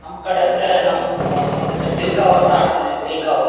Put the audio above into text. ನಂಕಡೆ ಎಂದರೆ ನಮ್ಮ್ ಆ ಇದಕೆ ಚಿಲ್ಕಾವು ಅಂತ ಆಡುತ್ತಿದ್ವಿ ಚಿಲ್ಕಾವು.